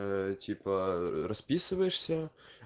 типа расписываешься